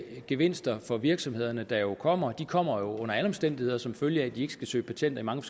de gevinster for virksomhederne der jo kommer kommer under alle omstændigheder som følge af at de ikke skal søge patent i mange